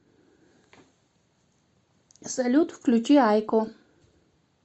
салют включи юко